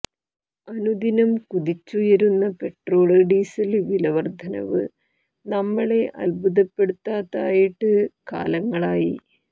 അനുദിനം കുതിച്ചുയരുന്ന petrol diesel വില വര്ധനവ് നമ്മളെ അത്ഭുതപ്പെടുത്താതായിട്ട് കാലങ്ങളായി